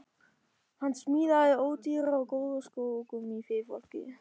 Hann smíðaði ódýra og góða skó úr gúmmíi fyrir fólkið.